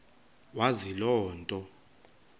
wazi loo nto